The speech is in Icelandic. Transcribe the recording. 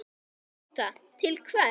Tóta: Til hvers?